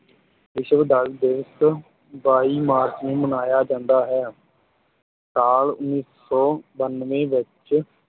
ਵਿਸ਼ਵ ਜਲ ਦਿਵਸ ਬਾਈ ਮਾਰਚ ਨੂੰ ਮਨਾਇਆ ਜਾਂਦਾ ਹੈ ਸਾਲ ਉੱਨੀ ਸੌ ਬਾਨਵੇਂ ਵਿੱਚ